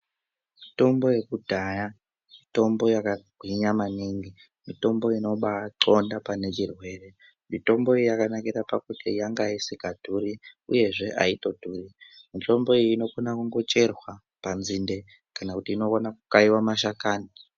Mitombo yekudhaya mitombo yakagwinya maningi mitombo inobaaxonda pane chirwere mitombo iyi yakanakire pakuti yanga isingadhuri uye aitodhuri mitombo iyi inokona kungocherwa panzinde kana inokone kukaiwa mashakani.